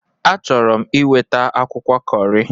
Achọrọ m iweta akwụkwọ Kọri.